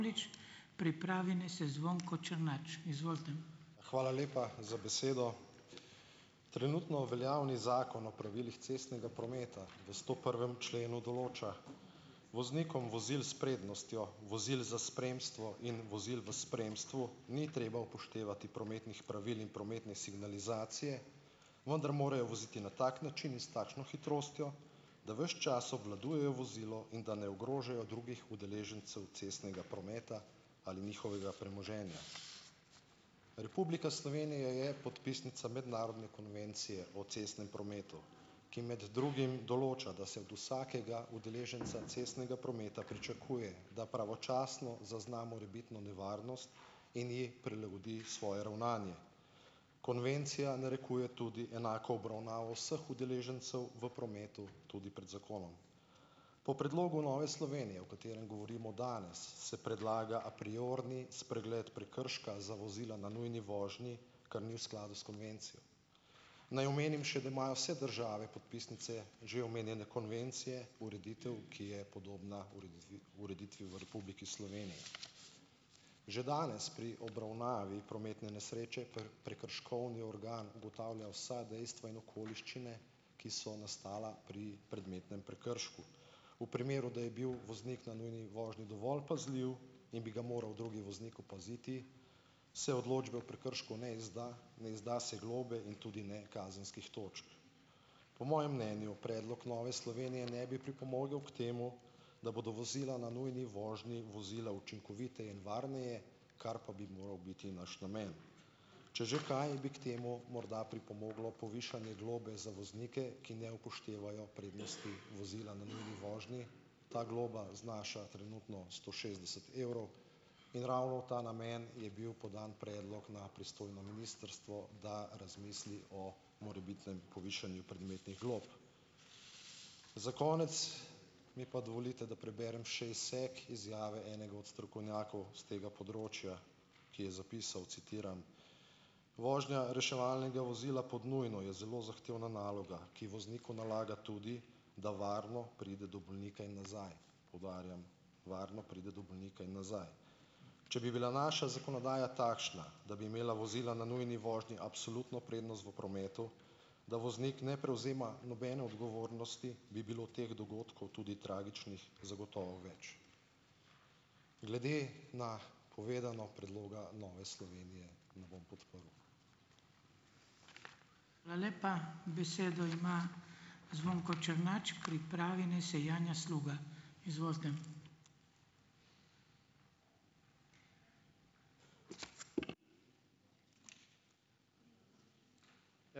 Hvala lepa za besedo. Trenutno veljavni Zakon o pravilih cestnega prometa v stoprvem členu določa voznikom vozil s prednostjo vozil za spremstvo in vozil v spremstvu ni treba upoštevati prometnih pravil in prometne signalizacije, vendar morajo voziti na tak način in s takšno hitrostjo, da ves čas obvladujejo vozilo in da ne ogrožajo drugih udeležencev cestnega prometa ali njihovega premoženja. Republika Slovenija je podpisnica mednarodne konvencije o cestnem prometu, ki med drugim določa, da se od vsakega udeleženca cestnega prometa pričakuje, da pravočasno zazna morebitno nevarnost in ji prilagodi svoje ravnanje. Konvencija narekuje tudi enako obravnavo vseh udeležencev v prometu tudi pred zakonom. Po predlogu Nove Slovenije, o katerem govorimo danes, se predlaga apriorni spregled prekrška za vozila na nujni vožnji, kar ni v skladu s konvencijo. Naj omenim še, da imajo vse države podpisnice že omenjene konvencije ureditev, ki je podobna ureditvi ureditvi v Republiki Že danes pri obravnavi prometne nesreče prekrškovni organ ugotavlja vsa dejstva in okoliščine, ki so nastala pri predmetnem prekršku. V primeru, da je bil voznik na nujni vožnji dovolj pazljiv in bi ga moral drugi voznik opaziti, se odločbe o prekršku ne izda, ne izda se globe in tudi ne kazenskih točk. Po mojem mnenju predlog Nove Slovenije ne bi pripomogel k temu, da bodo vozila na nujni vožnji vozila učinkoviteje in varneje, kar pa bi moral biti naš namen. Če že kaj, bi k temu morda pripomoglo povišanje globe za voznike, ki ne upoštevajo prednosti vozila na nujni vožnji. Ta globa znaša trenutno sto šestdeset evrov in ravno v ta namen je bil podan predlog na pristojno ministrstvo, da razmisli o morebitnem povišanju predmetnih glob. Za konec mi pa dovolite, da preberem še izsek izjave enega od strokovnjakov s tega področja, ki je zapisal, citiram: "Vožnja reševalnega vozila pod nujno je zelo zahtevna naloga, ki vozniku nalaga tudi, da varno pride do bolnika in nazaj," poudarjam, "varno pride do bolnika in nazaj." Če bi bila naša zakonodaja takšna, da bi imela vozila na nujni vožnji absolutno prednost v prometu, da voznik ne prevzema nobene odgovornosti, bi bilo teh dogodkov, tudi tragičnih, zagotovo več. Glede na povedano, predloga Nove Slovenije ne bom podprl.